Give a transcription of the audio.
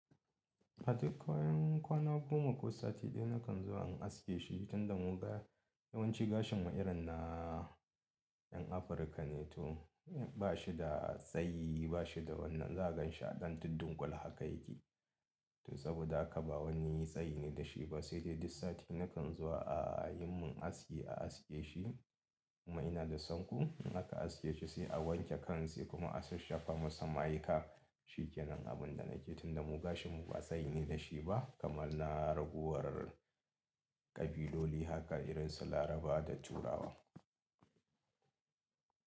Katik koyan kwana goma ko sati ɗaya na kan zuwa in aske shi tunda mu ga yawanci gashin mu irin na ƴan Afirka ne to bashi da tsayi bashi da wannan za gan shi a ɗan tuddun kula haka yake. To saboda haka ba wani tsayi ne da shi ba sai dai duk sati na kan zuwa a yi mun aske a aske shi kuma ina da sanko in aka aske shi sai a wanke kan sa kuma a sashafa masa ma'aika shikenan abin da nake tunda mu gashin mu ba tsayi ne da shi ba kamar na raguwar kabiloli haka irin su Laraba da Turawa.